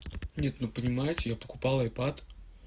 нет ну понимаете я покупал айпад